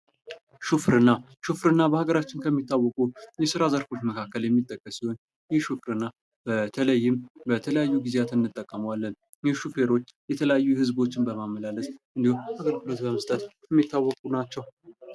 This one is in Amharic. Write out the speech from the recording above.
ሥራ የሰዎችን ችሎታና ተሰጥኦ እንዲያዳብሩ የሚያስችል መድረክ ከመሆኑም በላይ ለራስ ክብር መስጠትና በራስ መተማመንን ያጎለብታል።